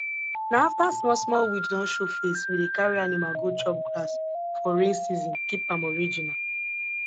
na afta small small weed don show face we dey carry animal go chop grass for rain season keep am original